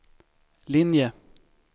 linje